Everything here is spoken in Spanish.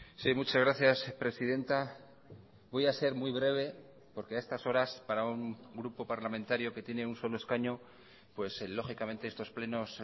sí muchas gracias presidenta voy a ser muy breve porque a estas horas para un grupo parlamentario que tiene un solo escaño lógicamente estos plenos